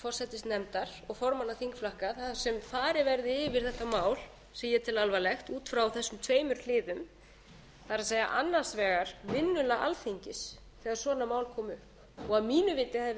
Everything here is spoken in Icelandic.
forsætisnefndar og formanna þingflokka þar sem farið verði yfir þetta mál sem ég tel alvarlegt út frá þessum tveimur hliðum það er annars vegar vinnulag alþingis þegar svona mál koma upp og að mínu viti hefði verið eðlilegt að